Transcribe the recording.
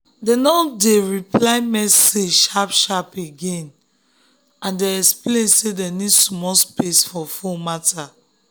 dem no dey um reply message um sharp sharp again and dem explain say dem need small space for phone matter.